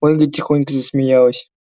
ольга тихонько засмеялась